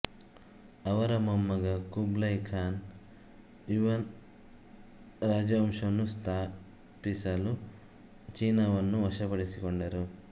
ಅವರ ಮೊಮ್ಮಗ Kublai Khan Yuan ರಾಜವಂಶವನ್ನು ಸ್ಥಾಪಿಸಲು ಚೀನಾವನ್ನು ವಶಪಡಿಸಿಕೊಂಡರು